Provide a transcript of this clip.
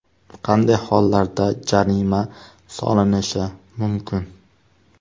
Qanday hollarda jarima solinishi mumkin?